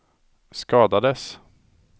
skadades